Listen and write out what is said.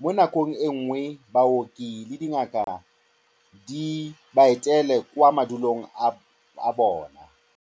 Mo nakong e nngwe, baoki le dingaka di ba etele kwa mafelong a bone.